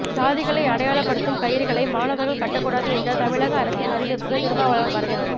ஜாதிகளை அடையாளப்படுத்தும் கயிறுகளை மாணவர்கள் கட்டக்கூடாது என்ற தமிழக அரசின் அறிவிப்புக்கு திருமாவளவன் வரவேற்பு